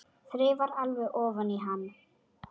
Þreifar alveg ofan í hann.